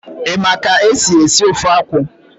Ị ma ka esi ofe akwụ?